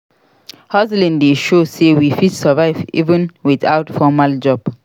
Hustling dey show sey we fit survive even without formal job.